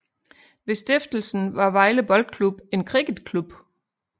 Ved stiftelsen var Vejle Boldklub en cricketklub